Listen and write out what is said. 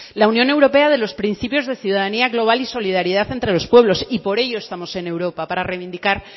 la unión europea de los principios de ciudadanía global y solidaridad entre los pueblos y por ello estamos en europa para reivindicar